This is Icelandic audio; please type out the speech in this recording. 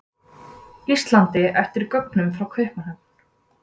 Íslandi eftir gögnum frá Kaupmannahöfn.